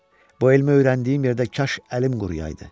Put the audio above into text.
Bu elmi öyrəndiyim yerdə kaş əlim quruyaydı.